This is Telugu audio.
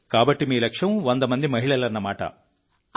కాబట్టి మీ లక్ష్యం 100 మంది మహిళలన్నమాట